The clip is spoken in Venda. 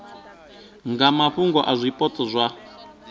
nga mafhungo a zwipotso zwa